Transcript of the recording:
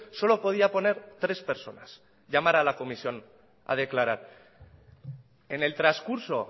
solo podía poner tres personas llamar a la comisión a declarar en el transcurso